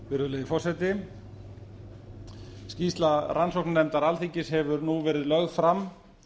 virðulegi forseti skýrsla rannsóknarnefndar alþingis hefur nú verið lögð fram